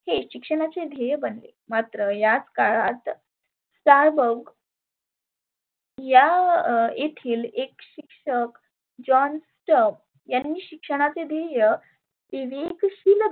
हे शिक्षणाचे ध्येय बनले. मात्र याच काळात Starbug या येथील एक शिक्षक john Stiv यांनी शिक्षणाचे ध्येय विवेकशिल